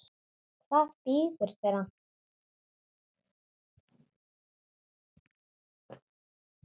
Hvað bíður þeirra?